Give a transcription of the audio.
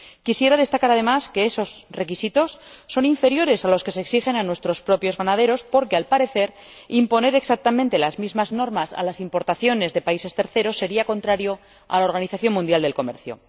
Quisiera destacar, además, que esos requisitos son inferiores a los que se exigen a nuestros propios ganaderos, porque, al parecer, imponer exactamente las mismas normas a las importaciones de países terceros sería contrario a la Organización Mundial del Comercio.